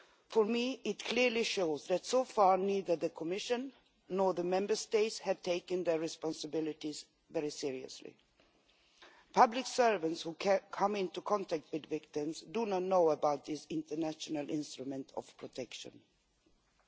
For me, it clearly shows that, so far, neither the Commission nor the Member States have taken their responsibilities very seriously. Public servants who come into contact with victims do not know about this international protection instrument.